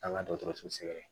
An ka dɔgɔtɔrɔso sɛgɛrɛ